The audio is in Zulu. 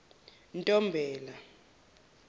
ntombela